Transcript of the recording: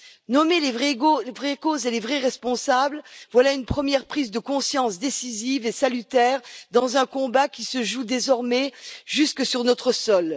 Nommer les vraies causes et les vrais responsables, voilà une première prise de conscience décisive et salutaire dans un combat qui se joue désormais jusque sur notre sol.